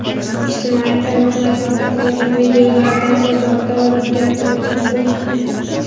Ijtimoiy tarmoqlarda tarqalgan videolardan bozorda odam gavjumligini ko‘rish mumkin.